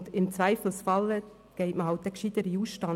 Im Zweifelsfall tritt man besser in den Ausstand.